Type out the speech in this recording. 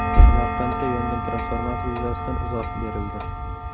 Samarqandda yongan transformator yuzasidan izoh berildi.